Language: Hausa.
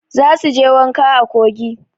Za su je wanka a kogi.